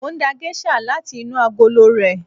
Mo ń da géṣà láti inú agolo rẹ̀.